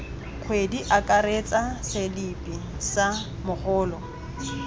kgwedi akaretsa selipi sa mogolo